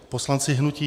Poslanci hnutí